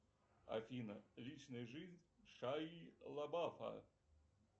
афина личная жизнь шайи лабафа